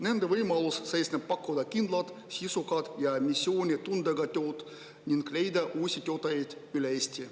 Nende võimalus seisneb pakkuda kindlat, sisukat ja missioonitundega tööd ning leida uusi töötajaid üle Eesti.